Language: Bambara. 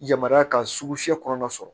Yamaruya ka sugu fiyɛ kɔnɔna sɔrɔ